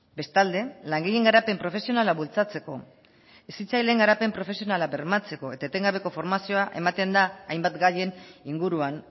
bestalde langileen garapen profesionala bultzatzeko hezitzaileen garapen profesionala bermatzeko eta etengabeko formazioa ematen da hainbat gaien inguruan